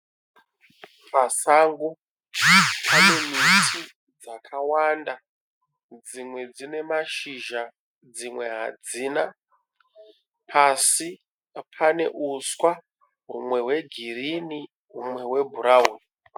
Pasango pane miti yakawanda dzimwe dzine mashizha dzimwe hadzina pasi pane uswa umwe hwegirini umwe hwebhurawuni.